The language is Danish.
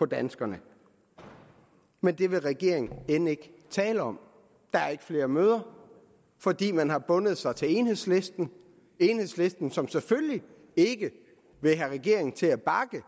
danskerne men det vil regeringen end ikke tale om der er ikke flere møder fordi man har bundet sig til enhedslisten enhedslisten som selvfølgelig ikke vil have regeringen til at bakke